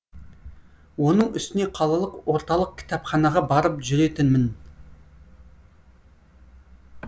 оның үстіне қалалық орталық кітапханаға барып жүретінмін